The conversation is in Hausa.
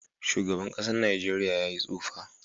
Shugaban kasan nageria ya yi tsufa.